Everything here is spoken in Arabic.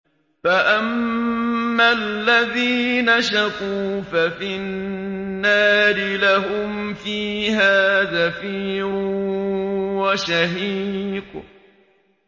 فَأَمَّا الَّذِينَ شَقُوا فَفِي النَّارِ لَهُمْ فِيهَا زَفِيرٌ وَشَهِيقٌ